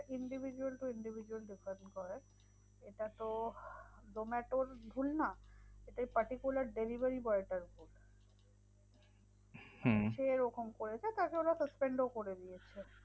Individual to individual depend করে এটা তো zomato র ভুল না, এটা particular delivery boy টার ভুল। যে এরকম করেছে তাকে ওরা suspend ও করে দিয়েছে।